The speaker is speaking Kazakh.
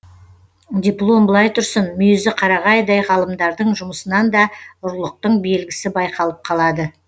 диплом былай тұрсын мүйізі қарағайдай ғалымдардың жұмысынан да ұрлықтың белгісі байқалып қалады